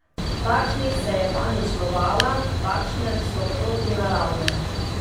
Takšnih se je panično bala, takšne so protinaravne.